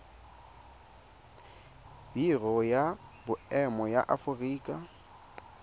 biro ya boemo ya aforika